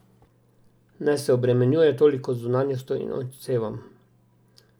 Naj se ne obremenjuje toliko z zunanjostjo in odsevom.